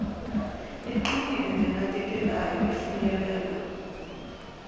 eqinile nenakekelayo efinyelela